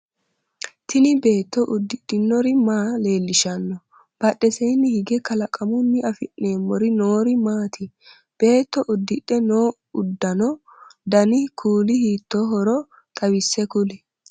Tinni beetto ududhinori maa leelishano? Badheseenni hige kalaqamunni afi'neemori noori maati? Beetto udidhe noo ududanno danni kuuli hiittoohoro xawise kuli?